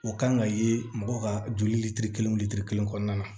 O kan ka ye mɔgɔ ka joli lili kelen litiri kelen kɔnɔna na